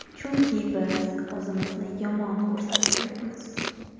Chunki biz o‘zimizni yomon ko‘rsatib yuribmiz.